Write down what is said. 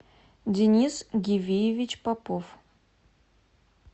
денис гивиевич попов